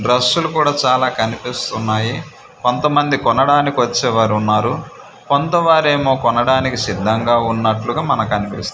బ్రెషులు కూడా చాలా కనిపిస్తున్నాయి కొంత మంది కొనడానికి వచ్చే వారు ఉన్నారు కొంత వారేమో కొనడానికి సిద్ధంగా ఉన్నట్లుగా మనకనిపిస్తుంది.